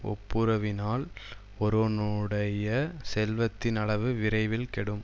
ஒப்புரவினால் ஒருவனுடைய செல்வத்தின் அளவு விரைவில் கெடும்